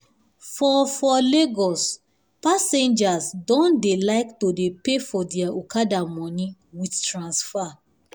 for for lagos passengers don dey like to dey pay for their okada money with transfer